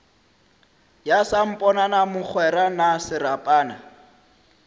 ya samponana mogwera na serapana